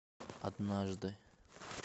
однажды